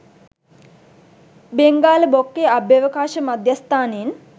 බෙංගාල බොක්කේ අභ්‍යවකාශ මධ්‍යස්ථානයෙන්